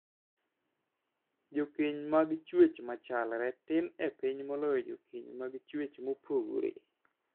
Jokeny mag chwech machalre tin e piny moloyo jokeny mag chuech mopogore.